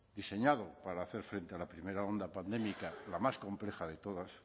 diseñado para hacer frente a la primera ola pandémica la más compleja de todas